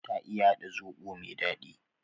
Ta iya hada zobo me dadi